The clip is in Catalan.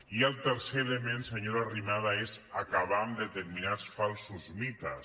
i el tercer element senyora arrimadas és acabar amb determinats falsos mites